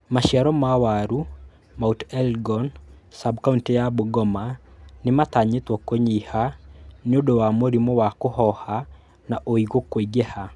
Maciaro ma waru Mt. Elgon sab-kauntĩ ya Bungoma nimatanyitwo kũnyiha nĩundũ wa mũrimu wa kũhoha na ũigũ kũingiha